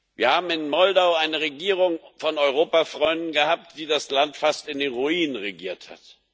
Wir haben in Moldau eine Regierung von Europafreunden gehabt, die das Land fast in den Ruin regiert hat.